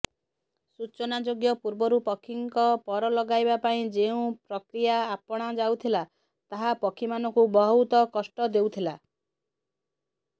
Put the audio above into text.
ସୂଚନାଯୋଗ୍ୟ ପୂର୍ବରୁ ପକ୍ଷୀଙ୍କ ପର ଲଗାଇବା ପାଇଁ ଯେଉଁ ପ୍ରକ୍ରିୟା ଆପଣାଯାଉଥିଲା ତାହା ପକ୍ଷୀମାନଙ୍କୁ ବହୁତ କଷ୍ଟ ଦେଉଥିଲା